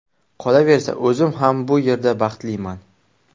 Qolaversa, o‘zim ham bu yerda baxtliman.